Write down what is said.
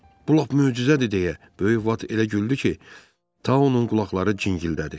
Bu lap möcüzədir deyə, böyük Bat elə güldü ki, Tau onun qulaqları cingildədi.